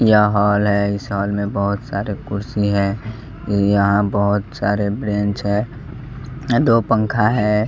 यह हॉल है इस हॉल में बहुत सारे कुर्सी है यहाँ बहोत सारे ब्रेंच है दो पंखा है।